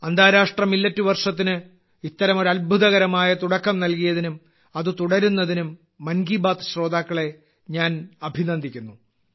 അന്താരാഷ്ട്ര മില്ലറ്റ് വർഷത്തിന് ഇത്തരമൊരു അത്ഭുതകരമായ തുടക്കം നൽകിയതിനും അത് തുടരുന്നതിനും മൻ കി ബാത്ത് ശ്രോതാക്കളെ ഞാൻ അഭിനന്ദിക്കുന്നു